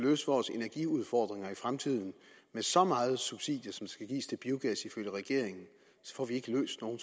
løse vores energiudfordringer i fremtiden med så mange subsidier som der skal gives til biogas ifølge regeringen så får vi ikke løst nogen